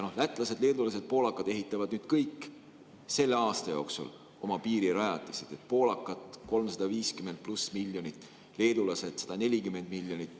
Lätlased, leedulased ja poolakad ehitavad kõik selle aasta jooksul oma piirirajatised: poolakad 350 pluss miljonit, leedulased 140 miljonit.